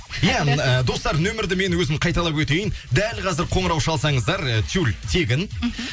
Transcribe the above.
иә м ыыы достар нөмірді мен өзім қайталап өтейін дәл қазір қоңырау шалсаңыздар ы тюль тегін мхм